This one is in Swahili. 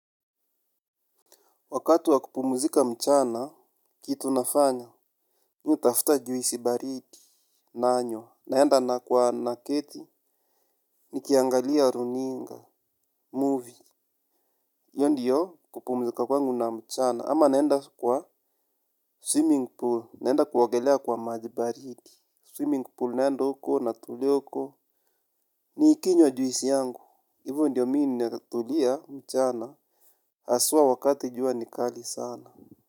Wakati wa kupumzika mchana, kitu nafanya. Mi hutafuta juisi baridi nanywa. Naenda na kwa naketi. Nikiangalia runinga, movie. Hiyo ndiyo kupumzika kwangu na mchana. Ama naenda kwa swimming pool. Naenda kuogelea kwa maji baridi. Swimming pool naenda huko natulia huko. Nikinywa juisi yangu. Hivo ndiyo mi ninatulia mchana. Hasua wakati jua ni kali sana.